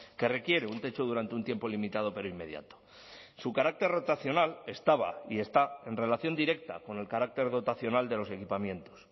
que requiere un techo durante un tiempo limitado pero inmediato su carácter rotacional estaba y está en relación directa con el carácter dotacional de los equipamientos